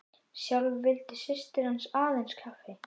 Sjálf vildi systir hans aðeins kaffi.